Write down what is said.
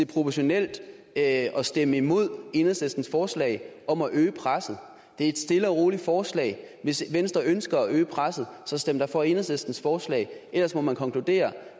proportionalt at stemme imod enhedslistens forslag om at øge presset det er et stille og roligt forslag og hvis venstre ønsker at øge presset så stem da for enhedslistens forslag ellers må man konkludere